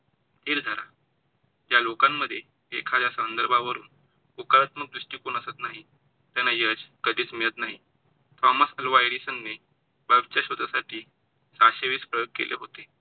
धीर धरा. ज्या लोकांन मध्ये एखाद्या संदर्भावरून होकारात्मक दृष्टिकोन असत नाही, त्यांना यश कधीच मिळत नाही. थॉमस अल्वा एडिसन ने bulb च्या शोधासाठी सहाशे वीस प्रयोग केले होते.